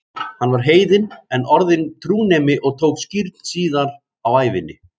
Hann var heiðinn en orðinn trúnemi og tók skírn síðar á ævinni.